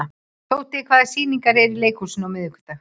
Tóti, hvaða sýningar eru í leikhúsinu á miðvikudaginn?